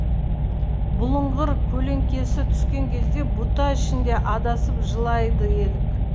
бұлыңғыр көлеңкесі түскен кезде бұта ішінде адасып жылайды елік